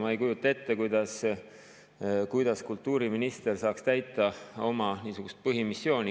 Ma ei kujuta ette, kuidas kultuuriminister saaks täita oma põhimissiooni.